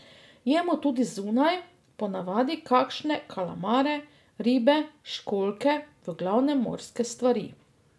Jemo tudi zunaj, po navadi kakšne kalamare, ribe, školjke, v glavnem morske stvari.